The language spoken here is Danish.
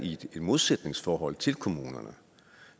i et modsætningsforhold til kommunerne